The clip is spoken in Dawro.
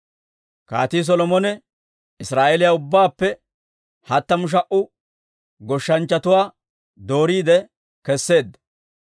Kaatii Solomone Israa'eeliyaa ubbaappe hattamu sha"a goshshanchchatuwaa dooriide keseedda.